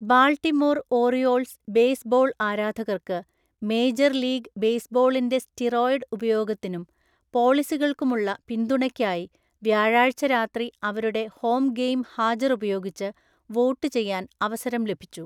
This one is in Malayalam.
ബാൾട്ടിമോർ ഓറിയോൾസ് ബേസ്ബോൾ ആരാധകർക്ക് മേജർ ലീഗ് ബേസ്ബോളിന്റെ സ്റ്റിറോയിഡ് ഉപയോഗത്തിനും പോളിസികൾക്കുമുള്ള പിന്തുണയ്‌ക്കായി വ്യാഴാഴ്ച രാത്രി അവരുടെ ഹോം ഗെയിം ഹാജർ ഉപയോഗിച്ച് വോട്ടുചെയ്യാൻ അവസരം ലഭിച്ചു.